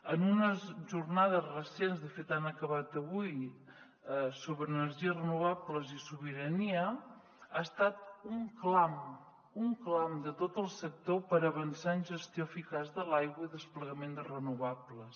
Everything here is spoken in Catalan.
en unes jornades recents de fet han acabat avui sobre energies renovables i sobirania ha estat un clam un clam de tot el sector per avançar en gestió eficaç de l’aigua i desplegament de renovables